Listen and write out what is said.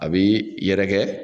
A be yɛrɛkɛ